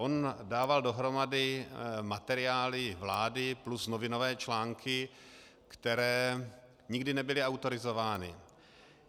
On dával dohromady materiály vlády plus novinové články, které nikdy nebyly autorizovány.